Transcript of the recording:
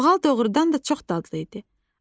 Qoğal doğrudan da çox dadlı idi.